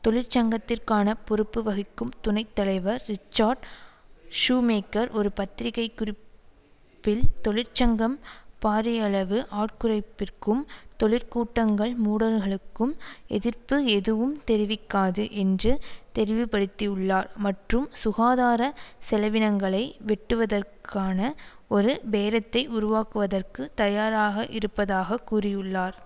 தொழிற்சங்கத்திற்கான பொறுப்பு வகிக்கும் துணை தலைவர் ரிச்சார்ட் ஷூமேக்கர் ஒரு பத்திரிக்கை குறிப்பில் தொழிற்சங்கம் பாரியளவு ஆட்குறைப்பிற்கும் தொழிற்கூடங்கள் மூடல்களுக்கும் எதிர்ப்பு எதுவும் தெரிவிக்காது என்று தெரிவுபடுத்தியுள்ளார் மற்றும் சுகாதார செலவினங்களை வெட்டுவதற்கான ஒரு பேரத்தை உருவாக்குவதற்கு தயாராக இருப்பதாக கூறியுள்ளார்